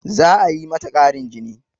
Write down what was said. Za a yi mata ƙarin jini